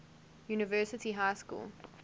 university high school